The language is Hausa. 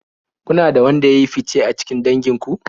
Kuna da wanda ya yi fice a cikin dangin ku?